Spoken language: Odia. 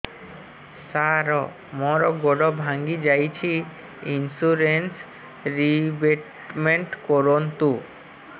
ସାର ମୋର ଗୋଡ ଭାଙ୍ଗି ଯାଇଛି ଇନ୍ସୁରେନ୍ସ ରିବେଟମେଣ୍ଟ କରୁନ୍ତୁ